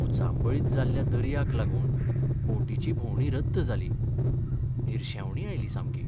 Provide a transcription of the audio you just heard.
उचांबळीत जाल्ल्या दर्याक लागून बोटीची भोंवडी रद्द जाली. निरशेवणी आयली सामकी.